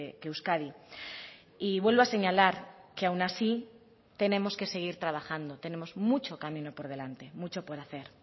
que euskadi y vuelvo a señalar que aun así tenemos que seguir trabajando tenemos mucho camino por delante mucho por hacer